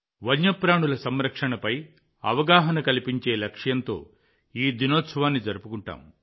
వన్యప్రాణుల సంరక్షణపై అవగాహన కల్పించే లక్ష్యంతో ఈ దినోత్సవాన్ని జరుపుకుంటాం